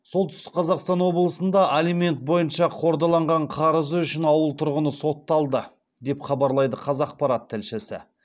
солтүстік қазақстан облысында алимент бойынша қордаланған қарызы үшін ауыл тұрғыны сотталды деп хабарлайды қазақпарат тілшісі